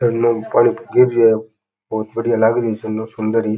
पानी गिर रेहो बहुत बडियो लाग री है झरनो सुंदरी --